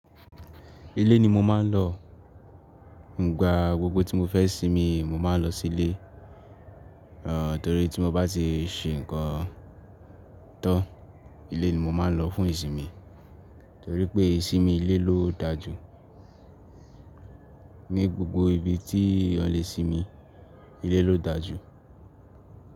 Ilé ni mo máa ń lọ. Ǹigbà gbogbo tí mo fẹ́ sinmi, mo máa ń lọ sí ilé. Ẹ̀ nitorí tí mo bá ti ṣe nǹkan tan, ilé ni mo máa ń lọ fún ìsinmi. Torí pé, ìsinmi ilé ló dà jù. Ní gbogbo ibi tí a lè sinmi, ilé ló dà jù.